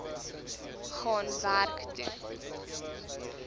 gaan werk toe